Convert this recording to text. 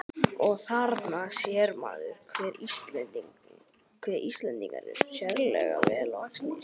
Og: Þarna sér maður, hve Íslendingar eru sérlega vel vaxnir.